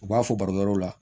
U b'a fɔ barokɛw la